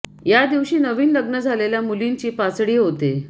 ह्या दिवशी नवीन लग्न झालेल्या मुलींची पासडी होते